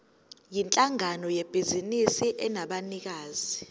yinhlangano yebhizinisi enabanikazi